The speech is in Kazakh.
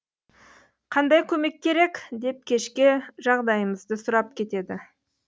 қандай көмек керек деп кешке жағдайымызды сұрап кетеді